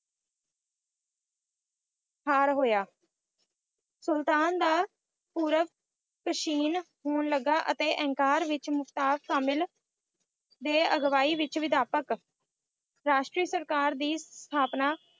ਹਾਰ ਹੋਇਆ ਸੁਲਤਾਨ ਦਾ ਪੂਰਵ ਕਸ਼ੀਣ ਹੋਣ ਲੱਗਾ ਅਤੇ ਅੰਕਾਰ ਵਿੱਚ ਮੁਸਤਫਾ ਕਾਮਲ ਦੇ ਅਗਵਾਈ ਵਿੱਚ ਵਿਧਾਪਕ ਰਾਸ਼ਟਰੀ ਸਰਕਾਰ ਦੀ ਸਥਾਪਨਾ